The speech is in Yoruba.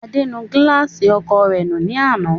Adé nu gíláàsì ọkọ̀o rẹ̀ nù ní àná.